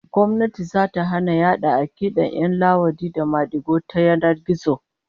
Gwamnati zata hana yada 'akidun 'yan luwadi da madigo ta yanar gizo